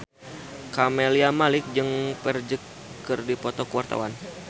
Camelia Malik jeung Ferdge keur dipoto ku wartawan